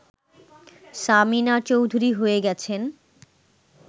সামিনা চৌধুরী হয়ে গেছেন